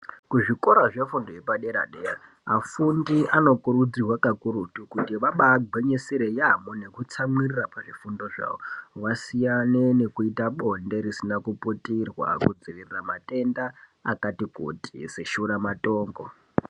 Kuzvikora zvefundo yepadera dera afundi anokurudzirwa vanokurudzirwa kuti vantu kuita bonde pakudzivirirwa matenda akaita seshura matongo.